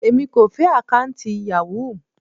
Èmi kò fẹ́ àkọ́ùntì Yahoo.